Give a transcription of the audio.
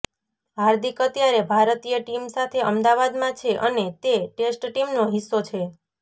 હાર્દિક અત્યારે ભારતીય ટીમ સાથે અમદાવાદમાં છે અને તે ટેસ્ટ ટીમનો હિસ્સો છે